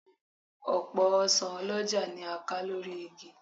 Ọ̀pọ̀ ọsàn ọlọ́jà ni a ká lórí igi